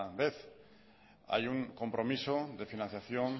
vez hay un compromiso de financiación